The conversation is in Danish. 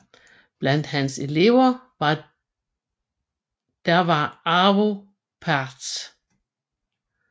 Blandt hans elever der var Arvo Pärt